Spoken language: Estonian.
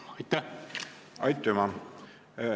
Aitüma!